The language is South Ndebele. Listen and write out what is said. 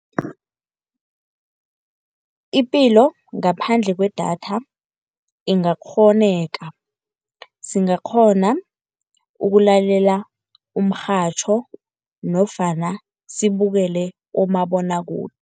Ipilo ngaphandle kwedatha ingakghoneka, singakghona ukulalela umrhatjho nofana sibukele umabonwakude.